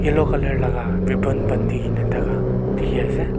yellow colour laka ribbon banti thaka dikhiase.